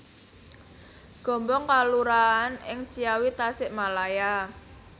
Gombong kelurahan ing Ciawi Tasikmalaya